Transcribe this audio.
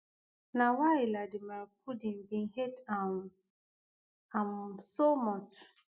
na why ladimar pudin bin hate um am so much